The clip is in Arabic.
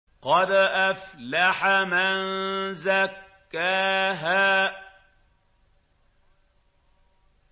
قَدْ أَفْلَحَ مَن زَكَّاهَا